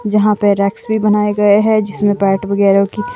जहां पे रेक्स भी बनाए गए हैं जिसमें पैट वगैरह की--